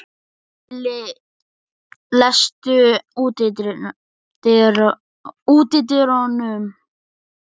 Lilli, læstu útidyrunum.